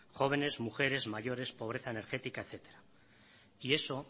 jóvenes mujeres mayores pobreza energética etcétera y eso